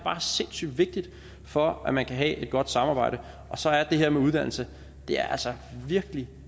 er sindssygt vigtigt for at man kan have et godt samarbejde og så er det her med uddannelse virkelig